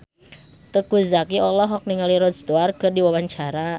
Teuku Zacky olohok ningali Rod Stewart keur diwawancara